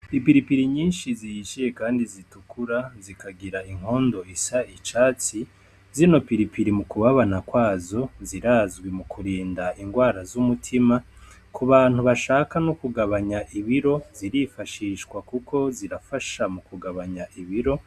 Ipiripiri nyinshi zihishiye kandi zitukura, zikagira inkondo isa icatsi, zino piripiri mu kubabana kwazo zirazwi mu kurinda ingwara z'umutima. Ku bantu bashaka no kugabanya ibiro zirifashishwa kuko ziragabanya ibiro.